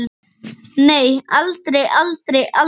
Nei, aldrei, aldrei, aldrei!